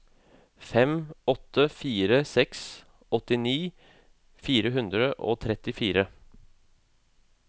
fem åtte fire seks åttini fire hundre og trettifire